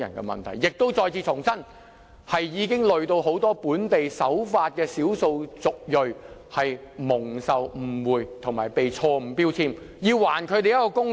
故此，我要再次重申，這問題連累很多本地守法的少數族裔，令他們飽受誤會和被錯誤標籤，所以要還他們一個公道。